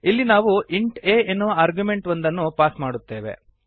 ಇಲ್ಲಿ ನಾವು int a ಎನ್ನುವ ಆರ್ಗ್ಯುಮೆಂಟ್ ಒಂದನ್ನು ಪಾಸ್ ಮಾಡುತ್ತೇವೆ